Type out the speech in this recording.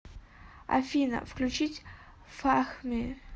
афина включить фахми